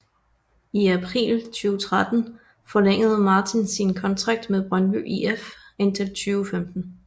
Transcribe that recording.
I april 2013 forlængede Martin sin kontrakt med Brøndby IF indtil 2015